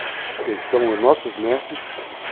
Porque são nossos mestres.